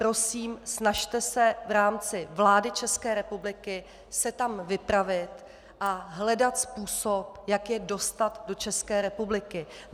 Prosím, snažte se v rámci vlády České republiky se tam vypravit a hledat způsob, jak je dostat do České republiky.